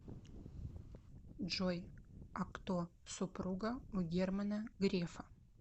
джой а кто супруга у германа грефа